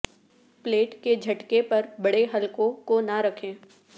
plate کے جھٹکے پر بڑے حلقوں کو نہ رکھیں